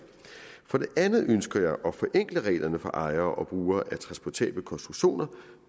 for det andet ønsker jeg at forenkle reglerne for ejere og brugere af transportable konstruktioner